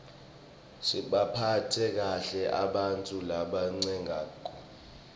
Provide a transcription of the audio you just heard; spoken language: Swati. sibaphatse kahle ebantfu labatsengako